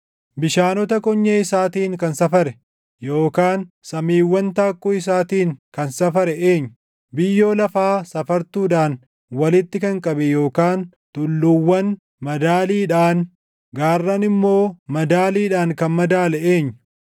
Bishaanota konyee isaatiin kan safare yookaan samiiwwan taakkuu isaatiin kan safare eenyu? Biyyoo lafaa safartuudhaan walitti kan qabe yookaan tulluuwwan madaaliidhaan gaarran immoo madaaliidhaan kan madaale eenyu?